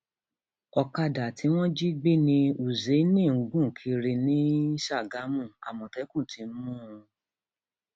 ọkadà tí wọn jí gbé ní húṣáìnì ń gùn gùn kiri um ni ságámù àmọtẹkùn ti mú un um